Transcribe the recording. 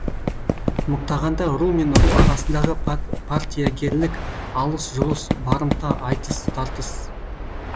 мықтағанда ру мен ру арасындағы партиягерлік алыс жұлыс барымта айтыс тартыс